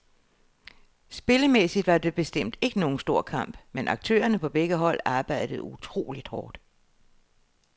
Spillemæssigt var det bestemt ikke nogen stor kamp, men aktørerne på begge hold arbejdede utroligt hårdt.